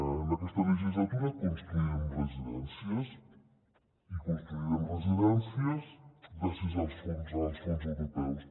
en aquesta legislatura construirem residències i construirem residències gràcies als fons europeus